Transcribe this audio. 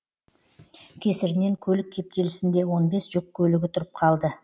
кесірінен көлік кептелісінде он бес жүк көлігі тұрып қалды